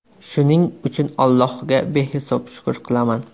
Shuning uchun Allohga behisob shukr qilaman.